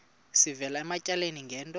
sivela ematyaleni ngento